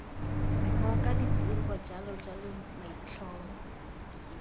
ngoka ditsibogo j j maitlhomo